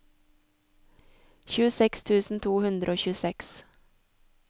tjueseks tusen to hundre og tjueseks